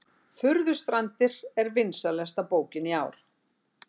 Furðustrandir vinsælasta bókin í ár